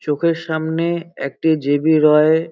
চোখের সামনে একটি জে.বি. রয় --